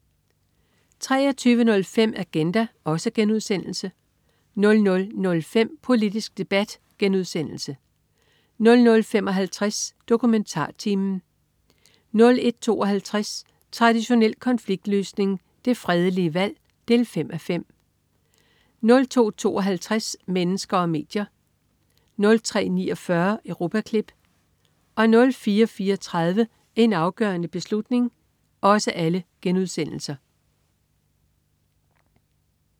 23.05 Agenda* 00.05 Politisk debat* 00.55 DokumentarTimen* 01.52 Traditionel konfliktløsning. Det fredelige valg 5:5* 02.52 Mennesker og medier* 03.49 Europaklip* 04.34 En afgørende beslutning*